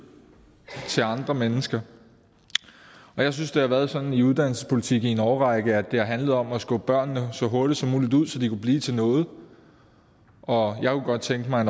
til andre mennesker jeg synes det har været sådan i uddannelsespolitikken i en årrække at det her handlede om at skubbe børnene så hurtigt som muligt ud så de kunne blive til noget og jeg kunne godt tænke mig